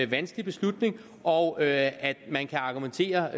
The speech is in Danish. vanskelig beslutning og at at man kan argumentere